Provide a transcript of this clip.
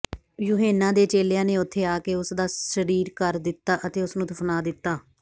ਯੂਹੰਨਾ ਦੇ ਚੇਲਿਆਂ ਨੇ ਉੱਥੇ ਆਕੇ ਉਸਦਾ ਸ਼ਰੀਰ ਕਰ ਦਿੱਤਾ ਅਤੇ ਉਸਨੂੰ ਦਫ਼ਨਾ ਦਿੱਤਾ